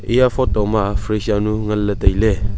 eya photo ma fridge jaonu nganle taile.